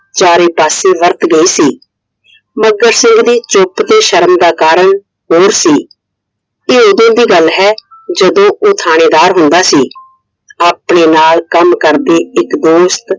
ਚਾਰੇ ਪਾਸੇ ਵਰਤ ਗਈ ਸੀ Iਮੱਘਰ ਸਿੰਘ ਦੀ ਚੁੱਪ ਤੇ ਸ਼ਰਮ ਦਾ ਕਾਰਨ ਹੋਰ ਸੀ I ਇਹ ਉਦੋਂ ਦੀ ਗੱਲ ਹੈ ਜਦੋ ਉਹ ਥਾਣੇਦਾਰ ਹੁੰਦਾ ਸੀ Iਆਪਣੇ ਨਾਲ ਕੰਮ ਕਰਦੇ ਇਕ ਦੋਸਤ